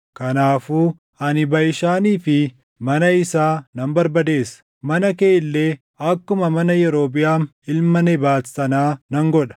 Kanaafuu ani Baʼishaanii fi mana isaa nan barbadeessa; mana kee illee akkuma mana Yerobiʼaam ilma Nebaat sanaa nan godha.